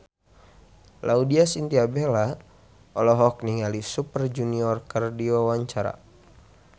Laudya Chintya Bella olohok ningali Super Junior keur diwawancara